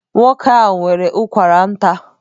Nwoke ahụ nwere ụkwara nta.